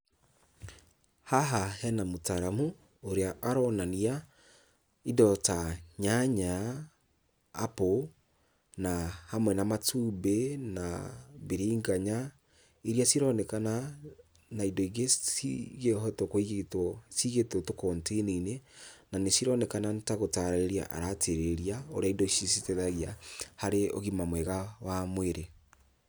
Haha hena mũtaaramu ũrĩa aronania indo ta nyanya, apple na hamwe na matumbĩ na mbiringanya iria cironekana na indo ingĩ cingĩhotwo kũigitwo, cigĩtwo tũ container -inĩ, na nĩcironekana nĩta gũtarĩria aratarĩria ũrĩa indo ici citeithagia harĩ ũgima mwega wa mwĩrĩ.